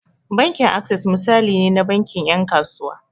Bankin Access misali ne na bankin 'yan kasuwa.